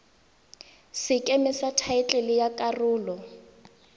sekeme sa thaetlele ya karolo